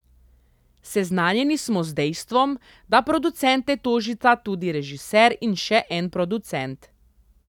Seznanjeni smo z dejstvom, da producente tožita tudi režiser in še en producent.